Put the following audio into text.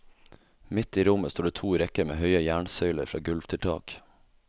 Midt i rommet står det to rekker med høye jernsøyler fra gulv til tak.